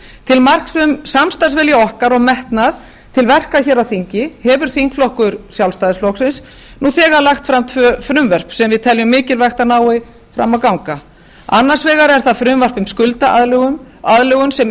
til hans um samstarfsvilja okkar og metnað til verka hér á þingi hefur þingflokkur sjálfstæðisflokksins nú þegar lagt fram tvö frumvörp sem við teljum mikilvægt að nái fram að ganga annars vegar er það frumvarp um skuldaaðlögun aðlögun sem